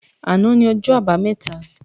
Àná ni ọjọ́ àbámẹ́ta